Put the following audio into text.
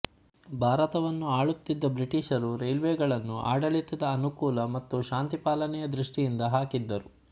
ಭಾರತವನ್ನು ಆಳುತ್ತಿದ್ದ ಬ್ರಿಟಿಷರು ರೈಲ್ವೆಗಳನ್ನು ಆಡಳಿತದ ಅನುಕೂಲ ಮತ್ತು ಶಾಂತಿಪಾಲನೆಯ ದೃಷ್ಟಿಯಿಂದ ಹಾಕಿದ್ದರು